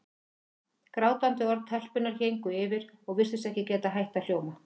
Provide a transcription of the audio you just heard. Grátandi orð telpunnar héngu yfir og virtust ekki geta hætt að hljóma.